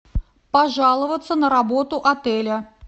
пожаловаться на работу отеля